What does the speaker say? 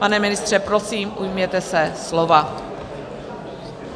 Pane ministře, prosím, ujměte se slova.